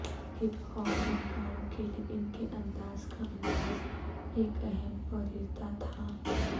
hip hop فنکاروں کے لئے ان کے انداز کا انداز ایک اہم پریرتا تھا